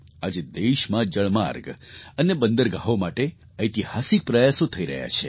આજે દેશમાં જળમાર્ગ અને બંદરગાહો માટે ઐતિહાસિક પ્રયાસો થઈ રહ્યા છે